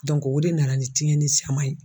o de nana ni tiɲɛni caman ye.